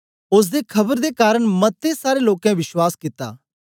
ओसदे खबर दे कारन मते सारें लोकें विश्वास कित्ता